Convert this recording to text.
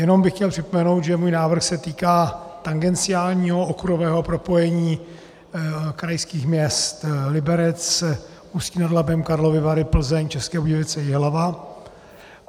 Jen bych chtěl připomenout, že můj návrh se týká tangenciálního okruhového propojení krajských měst Liberec, Ústí nad Labem, Karlovy Vary, Plzeň, České Budějovice, Jihlava.